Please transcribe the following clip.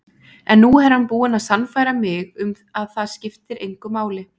En nú er hann búinn að sannfæra mig um að það skiptir engu máli.